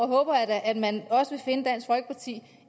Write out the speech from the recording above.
håber at man også finde dansk folkeparti